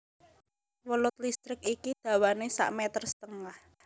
Welut listrik iki dawané sak meter setengah